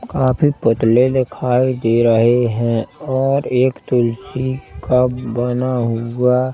काफी पुतले दिखाई दे रहे हैं और एक तुलसी का बना हुआ--